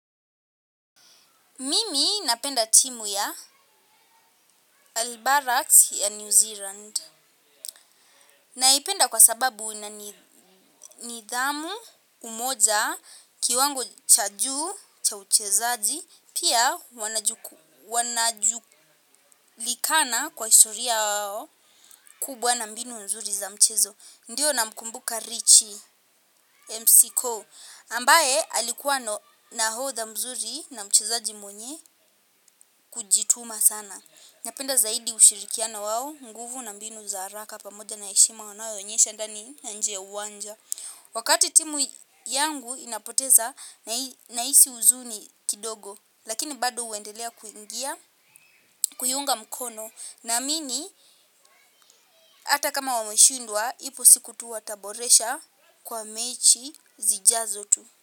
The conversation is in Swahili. Mimi napenda timu ya Albarax ya New Zealand. Naipenda kwa sababu ina nidhamu umoja kiwango cha juu cha uchezaji. Pia wanajulikana kwa historia yao kubwa na mbinu mzuri za mchezo. Ndiyo namkumbuka Richie McCaw ambaye alikuwa nahodha mzuri na mchezaji mwenye kujituma sana. Napenda zaidi ushirikiana wao, nguvu na mbinu za haraka pamoja na heshima wanayoonyesha ndani na nje uwanja. Wakati timu yangu inapoteza nahisi uzuni kidogo, lakini bado uendelea kuiunga mkono. Namini hata kama wameshindwa, ipo siku tu wataboresha kwa mechi zijazo tu.